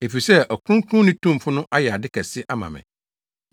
Efisɛ Ɔkronkronni Tumfo no ayɛ ade kɛse ama me;